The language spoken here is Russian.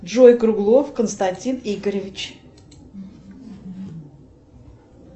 джой круглов константин игоревич